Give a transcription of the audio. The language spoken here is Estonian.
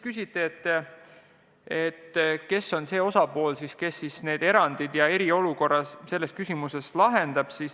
Küsiti, kes on see, kes need erandid ja eriolukorra selles küsimuses lahendab.